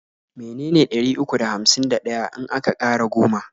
me ne ne ɗari uku da hamsin da ɗaya in aka ƙara goma?